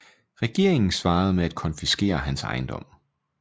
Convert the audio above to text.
Regeringen svarede med at konfiskere hans ejendom